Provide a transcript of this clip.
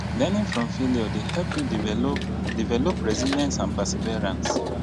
leraning from failure dey help you develop develop resilience and perseverance